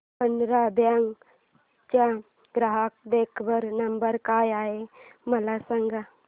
Canara bank चा ग्राहक देखभाल नंबर काय आहे मला सांगा